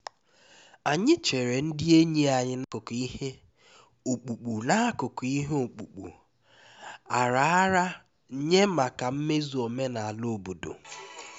anyị chere ndị enyi anyị n'akụkụ ihe ọkpụkpụ n'akụkụ ihe ọkpụkpụ a raara nye maka mmezu omenala obodo